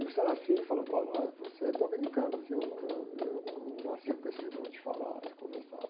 E o falou, olha, você é dominicano, eu num, eu não, eu não nasci com esse dom de falar, de conversar.